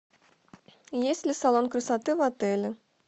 есть ли салон красоты в отеле